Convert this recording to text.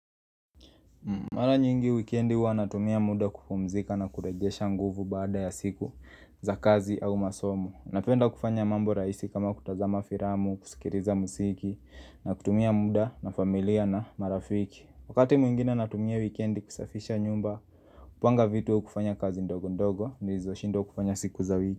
Mara nyingi wikendi huwa natumia muda kupumzika na kuregesha nguvu baada ya siku za kazi au masomo Napenda kufanya mambo rahisi kama kutazama filamu, kusikiliza muziki na kutumia muda na familia na marafiki wakati mwingine natumia wikendi kusafisha nyumba, kupanga vitu au kufanya kazi ndogo ndogo nilizoshindwa kufanya siku za wiki.